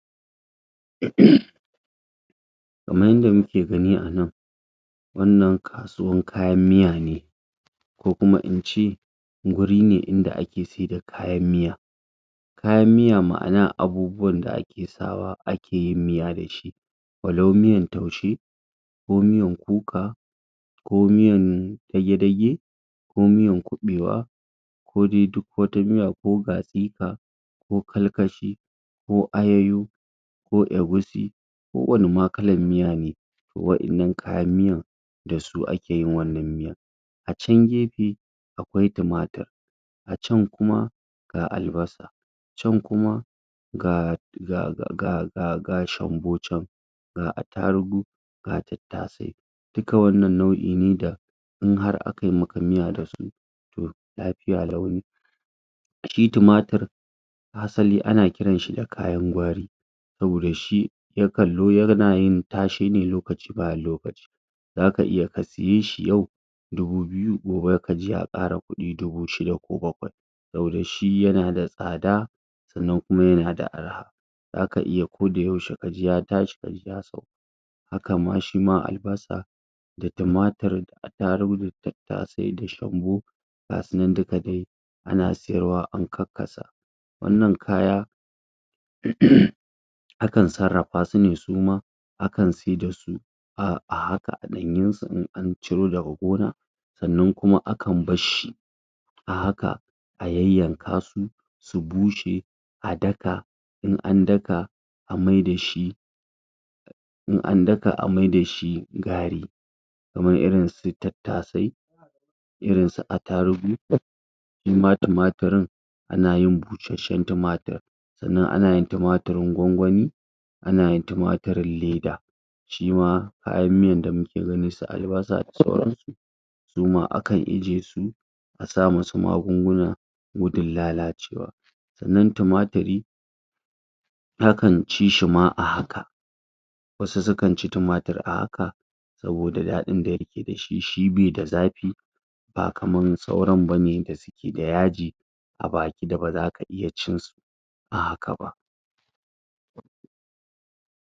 ? kaman yanda muke gani a nan wannan kasuwan kayan miya ne ko kuma ince guri ne inda ake saida kayan miya kayan miya ma'ana abubuwan da ake sawa ake yin miya dashi walau miyan taushe ko miyan kuka ko miyan dage dage ko miyan kuɓewa ko dai duk wata miya ko gatsipa ko kalkashi ko ayayo ko egusi ko wani ma kalan miya ne wa'innan kayan miyan dasu ake yin wannan miyan a can gepe akwai timatir a can kuma ga albasa can kuma ga zakaga ga ga ga shambo can ga attarugu ga tattasai duka wannan nau'i ne da in har akai maka miya dasu toh lapiya lau ne shi timatir asali ana kiranshi da kayan gwari saboda shi ya kan lo yana yin tashe ne lokaci bayan lokaci zaka iya ka siye shi yau dubu biyu gobe kaji ya ƙara ƙuɗi dubu shida ko bakwai saboda shi yana da tsada sannan kuma yana da arha zaka iya kodayaushe kaji ya tashi kaji ya sauka haka ma shima albasa da timatir attarugu da tattasai da shambo gasu nan duka de ana siyarwa an kakkasa wannan kaya? akan sarrapa su ne su ma akan se da su um a haka a ɗanyunsu in an ciro daga gona sannan kuma akan barshi a haka a yayyanka su su bushe a daka in an daka an mai dashi in an daka an mai dashi gari kamar irinsu tattasai irin su atarugu shima timatirin ana yin bushasshen timatir sannan ana yin timatirin gwangwani ana timatirin leda shima kayan miyan da muke gani su albasa da sauransu su ma akan ije su a sa musu magunguna gudun lalacewa sannan timatiri akan ci shi ma a haka wasu sukan ci timatir a haka saboda ɗaɗin da yake dashi shi be da zapi ba kaman sauran bane da su ke da yaji a baki da bazaka iya cin su a haka ba